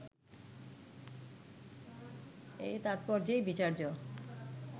এই তাৎপর্যেই বিচার্য